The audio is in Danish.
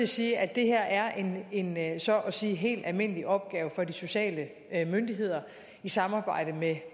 sige at det her er en en så at sige helt almindelig opgave for de sociale myndigheder i samarbejde med